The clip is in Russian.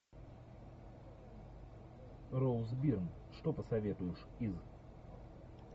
роуз бир что посоветуешь из